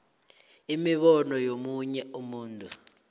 imibono yomunye umuntu